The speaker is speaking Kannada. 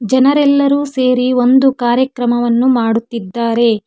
ಜನರೆಲ್ಲರು ಸೇರಿ ಒಂದು ಕಾರ್ಯಕ್ರಮವನ್ನು ಮಾಡುತ್ತಿದ್ದಾರೆ.